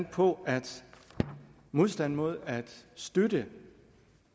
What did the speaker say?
på at modstanden mod at støtte